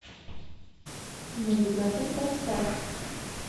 навигатор поставь